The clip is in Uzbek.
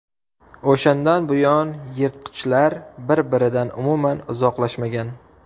O‘shandan buyon yirtqichlar bir-biridan umuman uzoqlashmagan.